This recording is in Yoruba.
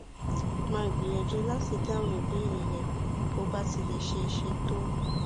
màá gbìyànjú láti dáhùn ìbéèrè rẹ bó bá ti lè ṣeé ṣe tó